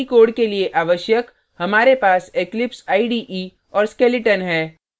बाकी code के लिए आवश्यक हमारे पास eclipse ide और skeleton है